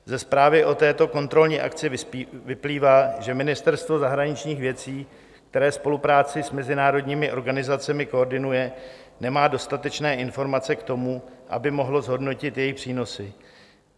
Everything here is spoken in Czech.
Ze zprávy o této kontrolní akci vyplývá, že Ministerstvo zahraničních věcí, které spolupráci s mezinárodními organizacemi koordinuje, nemá dostatečné informace k tomu, aby mohlo zhodnotit jejich přínosy.